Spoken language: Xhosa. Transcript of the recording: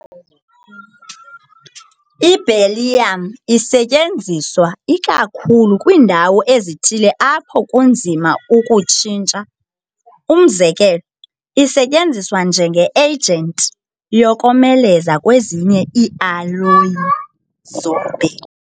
Iberyllium isetyenziswa ikakhulu kwiindawo ezithile apho kunzima ukuyitshintsha, umzekelo, isetyenziswa njenge-agent yokomeleza kwezinye iialloyi zobhedu .